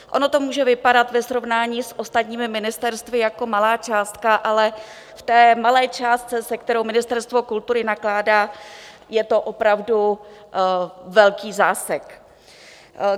Ono to může vypadat ve srovnání s ostatními ministerstvy jako malá částka, ale v té malé částce, se kterou Ministerstvo kultury nakládá, je to opravdu velký zásek.